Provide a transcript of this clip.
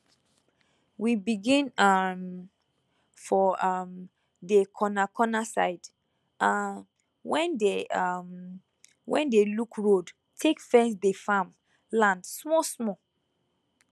we begin um for um dey corna cona side um wen dey um wen dey look road take fence dey farm land smoll smoll